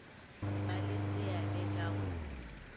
ba le seabe ka go